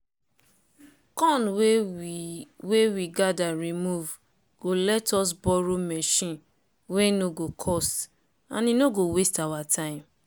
corn wey we wey we gather remove go let us borrow machine wey no go cost and e no go waste our time.